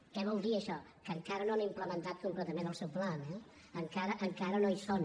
què vol dir això que encara no han implementat completament el seu pla eh encara no hi són